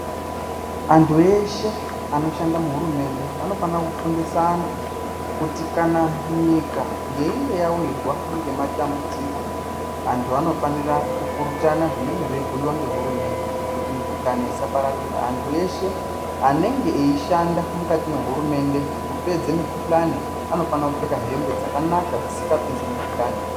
Anthu eshe anoshanda muhurumende anofana kufundisa anthu kuti kana nyika yeinge yawirwa ngematambudziko, anthu anofanira kupurutana zvinenge zveibhuiwa ngehurumende kuti mukuhlani isapararira. Anthu eshe anenge eishanda mukati mehurumende kupedza mikuhlani anofana kupfeka hembe dzakanaka dzisingapinzi mukuhlani.